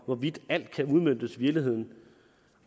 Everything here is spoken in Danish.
hvorvidt alt kan udmøntes i virkeligheden